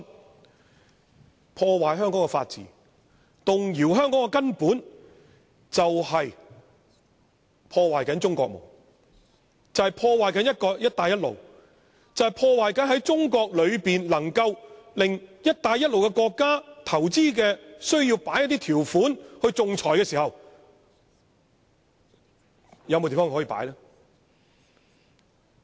那麼，破壞香港法治和動搖香港的根本，就是在破壞中國夢、破壞"一帶一路"、破壞中國內可以讓"一帶一路"國家進行投資仲裁的地方。